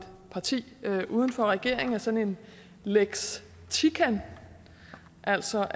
parti uden for regeringen er sådan en lex tican altså